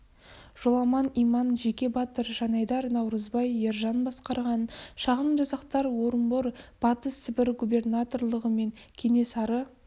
жоламан иман жеке батыр жанайдар наурызбай ержан басқарған шағын жасақтар орынбор батыс сібір губернаторлығы мен кенесары